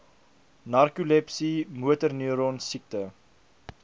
narkolepsie motorneuron siekte